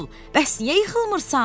Bəs niyə yıxılmırsan?